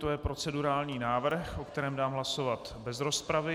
To je procedurální návrh, o kterém dám hlasovat bez rozpravy.